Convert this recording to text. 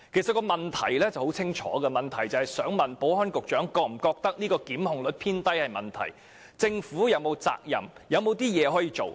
這項主體質詢十分清晰，就是問局長是否認為檢控率偏低存在問題，以及政府是否有責任和還有些甚麼可以做？